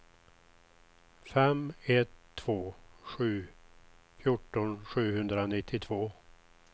fem ett två sju fjorton sjuhundranittiotvå